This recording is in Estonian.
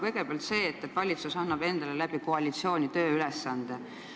Kõigepealt see, et valitsus annab endale koalitsiooni kaudu tööülesande.